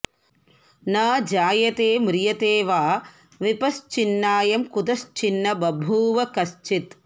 न जायते म्रियते वा विपश्चिन्नायं कुतश्चिन्न बभूव कश्चित्